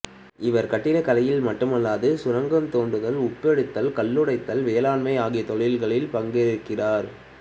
இவர் கட்டிடக்கலையில் மட்டுமல்லாது சுரங்கந்தோண்டுதல் உப்பெடுத்தல் கல்லுடைத்தல் வேளாண்மை ஆகிய தொழில்களில் பங்கேற்றார்